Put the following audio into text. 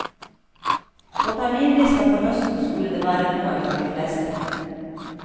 På terminlista for høsten skulle det være noe for de fleste.